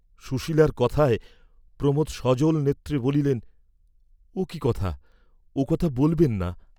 সুশীলার কথায় প্রমোদ সজল নেত্রে বলিলেন ও কি কথা, ও কথা বলবেন না।